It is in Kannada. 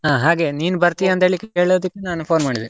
ಹಾಗೇ ನೀನು ಬರ್ತೀಯಾ ಅಂತ ಹೇಳಿ ಕೇಳೋದಿಕ್ಕೆ, ನಾನು phone ಮಾಡಿದೆ?